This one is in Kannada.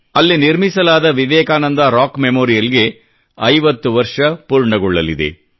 ಅಲ್ಲಿ ನಿರ್ಮಿಸಲಾದ ವಿವೇಕಾನಂದ ರಾಕ್ ಮೆಮೊರಿಯಲ್ ಗೆ 50 ವರ್ಷ ಪೂರ್ಣಗೊಳ್ಳಲಿವೆ